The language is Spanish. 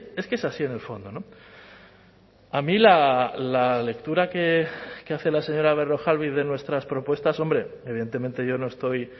es que es así en el fondo a mí la lectura que hace la señora berrojalbiz de nuestras propuestas hombre evidentemente yo no estoy